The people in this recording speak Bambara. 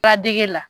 Badɛge la